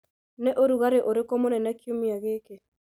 nĩ ũrugarĩ ũrĩkũ mũnene kiumia gĩkĩ